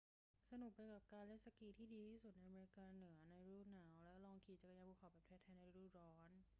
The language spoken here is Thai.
สนุกไปกับการเล่นสกีที่ดีที่สุดในอเมริกาเหนือในฤดูหนาว และลองขี่จักรยานภูเขาแบบแท้ ๆ ในฤดูร้อน